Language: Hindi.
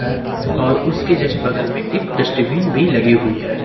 और उसके जस्ट बगल में एक डस्टबिन भी लगी हुई है।